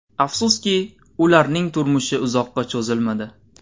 Afsuski, ularning turmushi uzoqqa cho‘zilmadi.